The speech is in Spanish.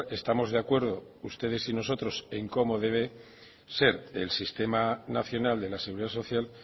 estamos de acuerdo ustedes y nosotros en cómo debe ser el sistema nacional de la seguridad social